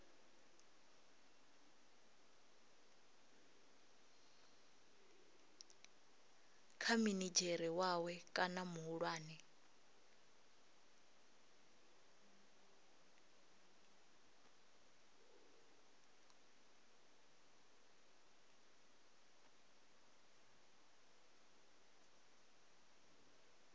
kha minidzhere wawe kana muhulwane